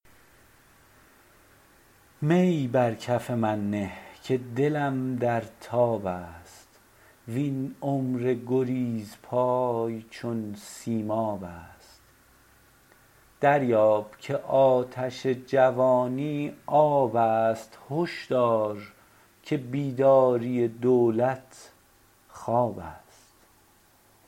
می بر کف من نه که دلم در تاب است وین عمر گریزپای چون سیماب است دریاب که آتش جوانی آب است هش دار که بیداری دولت خواب است